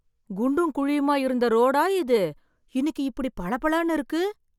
குண்டும் குழியுமா இருந்த ரோடா இது இன்னைக்கு இப்படி பளபளன்னு இருக்கு